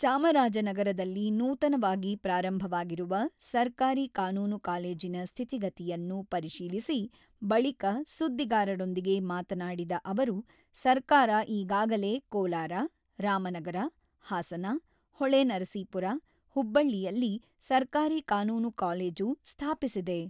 ಚಾಮರಾಜನಗರದಲ್ಲಿ ನೂತನವಾಗಿ ಪ್ರಾರಂಭವಾಗಿರುವ ಸರ್ಕಾರಿ ಕಾನೂನು ಕಾಲೇಜಿನ ಸ್ಥಿತಿಗತಿಯನ್ನು ಪರಿಶೀಲಿಸಿ ಬಳಿಕ ಸುದ್ದಿಗಾರರೊಂದಿಗೆ ಮಾತನಾಡಿದ ಅವರು, ಸರ್ಕಾರ ಈಗಾಗಲೇ ಕೋಲಾರ, ರಾಮನಗರ, ಹಾಸನ, ಹೊಳೆನರಸೀಪುರ, ಹುಬ್ಬಳ್ಳಿಯಲ್ಲಿ ಸರ್ಕಾರಿ ಕಾನೂನು ಕಾಲೇಜು ಸ್ಥಾಪಿಸಿದೆ.